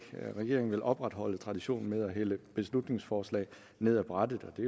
regeringen vil opretholde traditionen med at hælde beslutningsforslag ned af brættet og det